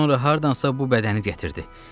Sonra hardansa bu bədəni gətirdi.